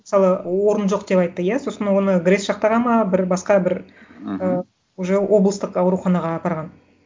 мысалы орын жоқ деп айтты иә сосын оны грэс жақтағы ма бір басқа бір мхм уже облыстық ауруханаға апарған